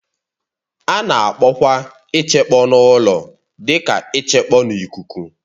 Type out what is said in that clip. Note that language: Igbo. A na-akpọkwa ichekpọ n'ụlọ dị ka ịchekpọ n'ikuku